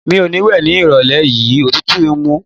Mi ò ní wẹ̀ ní ìrọ̀lẹ́ yìí, òtútù ń mú.